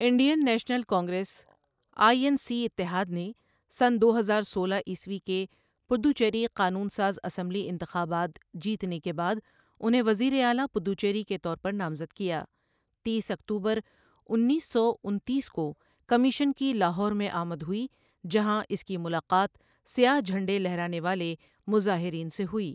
Indian National Congress I N C اتحاد نے سنہ دو ہزار سولہ عیسوی کے پدوچیری قانون ساز اسمبلی انتخابات جیتے کے بعد انہیں وزیر اعلیٰ پدوچیری کے طور پر نامزد کیا تیس اکتوبر انیس سو انتیس کو کمیشن کی لاہور میں آمد ہوئی جہاں اس کی ملاقات سیاہ جھنڈے لہرانے والے مظاہرین سے ہوئی۔